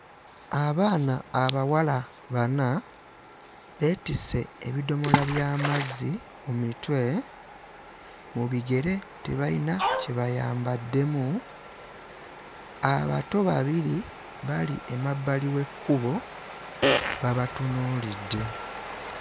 Abaana abawala bana beetisse ebidomola by'amazzi ku mitwe, mu bigere tebayina kye bayambaddemu, abato babiri bali emabbali w'ekkubo babatunuulidde.